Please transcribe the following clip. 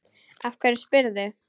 Af hverju spyrðu?